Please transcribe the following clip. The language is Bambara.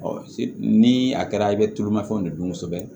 ni a kɛra i bɛ tulumafɛnw de dun kosɛbɛ